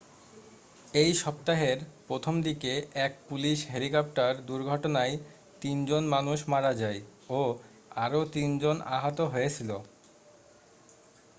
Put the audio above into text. এই সপ্তাহের প্রথম দিকে এক পুলিশ হেলিকপ্টার দুর্ঘটনায় তিন জন মানুষ মারা যায় ও আরও তিন জন আহত হয়েছিল